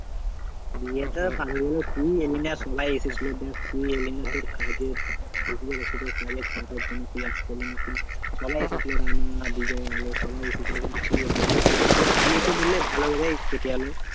বিয়েটা তুই এলি না সবাই এসেছিলো। দেখ তুই এলিনা তোর কাজের বুঝতে তো পারছি তোর কাজের চাপের জন্য তুই আসতে পারলি না। কিন্তু সবাই এসেছিলো রানা, বিজয়, আলো সবাই এসেছিলো, কিন্তু তুই এলি না। তোর বিয়েটা ধরলে ভালো ভাবেই কেটে গেলো।